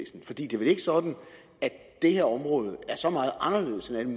vel ikke sådan at det her område er så meget anderledes